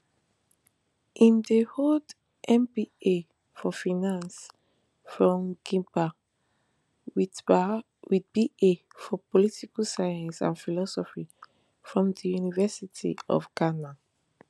im dey hold mba for finance from gimpa wit ba for political science and philosophy from di university of ghana